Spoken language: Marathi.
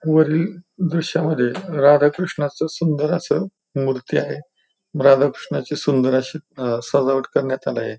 वरील दृश्यामध्ये राधाकृष्णाच सुंदर अस मूर्ती आहे राधा कृष्णाची सुंदर अशी अह सजावट करण्यात आलय.